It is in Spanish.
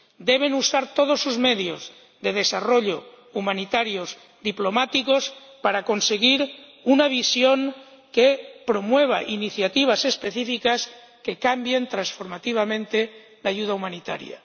Deben usar todos sus medios de desarrollo, humanitarios, diplomáticos, para conseguir una visión que promueva iniciativas específicas que cambien transformativamente la ayuda humanitaria.